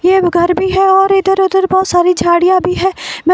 एक घर भी है और इधर उधर बहोत सारी झाड़ियां भी है --